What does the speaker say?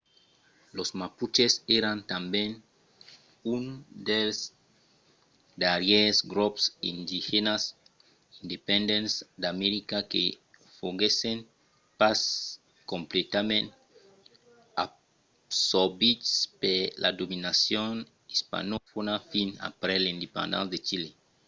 los mapuches èran tanben un dels darrièrs grops indigènas independents d'america que foguèssen pas completament absorbits per la dominacion ispanofòna fins aprèp l'independéncia de chile